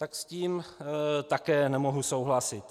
Tak s tím také nemohu souhlasit.